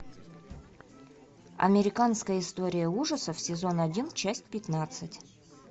американская история ужасов сезон один часть пятнадцать